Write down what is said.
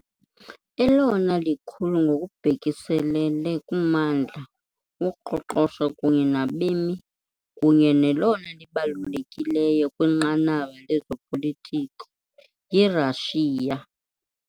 Elona likhulu ngokubhekiselele kummandla, uqoqosho kunye nabemi kunye nelona libalulekileyo kwinqanaba lezopolitiko yiRashiya .